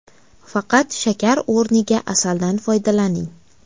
Faqat shakar o‘rniga asaldan foydalaning.